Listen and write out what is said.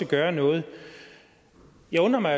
gøre noget jeg undrer mig